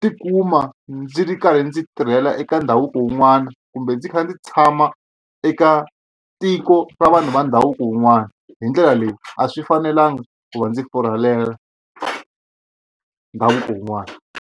tikuma ndzi ri karhi ndzi tirhela eka ndhavuko wun'wana kumbe ndzi kha ndzi tshama eka tiko ra vanhu va ndhavuko wun'wana hi ndlela leyi a swi fanelanga ku va ndzi ndhavuko wun'wana.